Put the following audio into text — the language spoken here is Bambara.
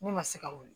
Ne ma se ka wuli